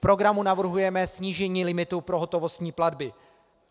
V programu navrhujeme snížení limitu pro hotovostní platby.